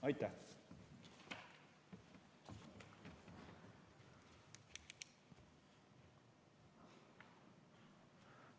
Aitäh!